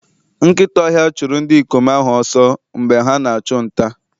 Nkịta ọhịa chụrụ ndị ikom ahụ ọsọ mgbe ha na-achụ nta.